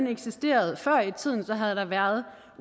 eksisteret før i tiden havde der været